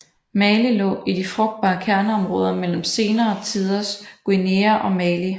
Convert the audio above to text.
Mali lå i de frugtbare kerneområder mellem senere tiders Guinea og Mali